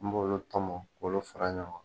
N b'olu tɔmɔ k'olu fara ɲɔn kan.